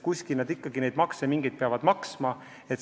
Kuskil nad ju mingeid makse ikkagi peavad maksma.